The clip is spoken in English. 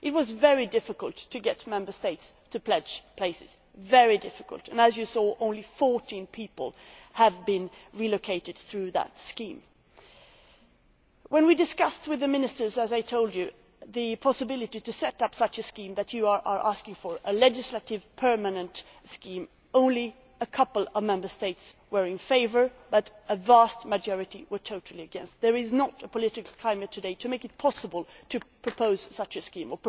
It was very difficult to get Member States to pledge places very difficult and as you saw, only 14 people have been relocated through that scheme. When, as I told you, we discussed with the Ministers the possibility of setting up a scheme such as you are asking for a legislative, permanent scheme only a couple of Member States were in favour, but a vast majority were totally against. There is not the political climate today to make it possible to propose such a scheme.